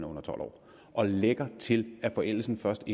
under tolv år og lægger til at forældelsen først